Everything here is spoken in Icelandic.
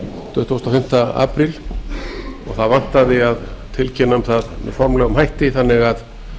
tuttugasta og fimmta apríl og það vantaði að tilkynna um það með formlegum hætti þannig að